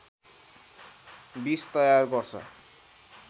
विष तयार गर्छ